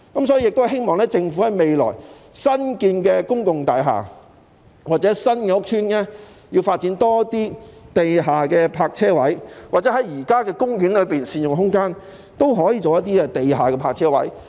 所以，我希望政府未來在新建的公共大廈或新屋邨多發展地下泊車位，又或在現時的公園善用空間，興建一些地下的泊車位。